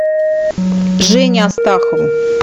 жене астахову